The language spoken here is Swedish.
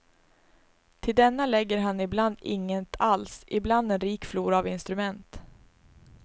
Till denna lägger han ibland inget alls, ibland en rik flora av instrument.